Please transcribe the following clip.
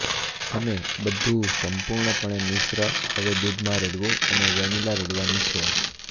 અમે બધું સંપૂર્ણપણે મિશ્ર હવે દૂધમાં રેડવું અને વેનીલા રેડવાની છે